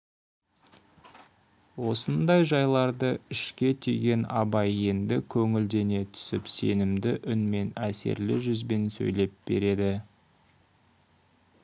осындай жайларды ішке түйген абай енді көңілдене түсіп сенімді үнмен әсерлі жүзбен сөйлеп береді